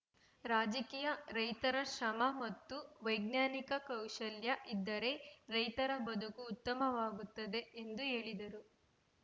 ರಾಜಕೀಯ ರೈತರ ಶ್ರಮ ಮತ್ತು ವೈಜ್ಞಾನಿಕ ಕೌಶಲ್ಯ ಇದ್ದರೆ ರೈತರ ಬದುಕು ಉತ್ತಮವಾಗುತ್ತದೆ ಎಂದು ಹೇಳಿದರು